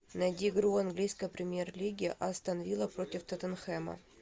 найди игру английской премьер лиги астон вилла против тоттенхэма